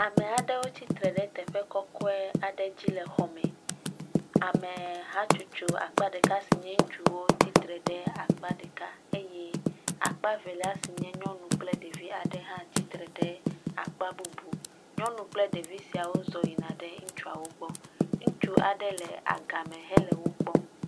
Ame aɖewo tsitre ɖe teƒe kɔkɔe aɖe dzi le xɔ me. Ame hatsotso akpa ɖeka si nye ŋutsuwo tsitre ɖe akpa ɖeka eye akpe velia si nye nyɔnu kple ɖevi aɖe hã tsitree ɖe akpa bubu. Nyɔnu kple ɖevi siawo zɔ yina ɖe ŋutsuawo gbɔ. Ŋutsu aɖe le agama hele wo kpɔm.